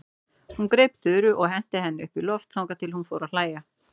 Hún greip Þuru og henti henni upp í loft þangað til hún fór að hlæja.